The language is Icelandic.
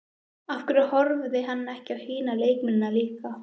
Af hverju horfði hann ekki á hina leikmennina líka?